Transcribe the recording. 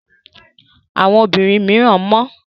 Àwọn obìnrin mìíràn mọ́.